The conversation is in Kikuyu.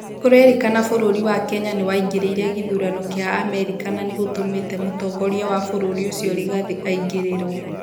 kurerĩkana bũrũri wa Kenya nĩwaingĩrĩire gĩthurano kĩa Amerika na gũtũmite mũtongoria wa bũrũri ucĩo rigathĩ aingĩrĩrwo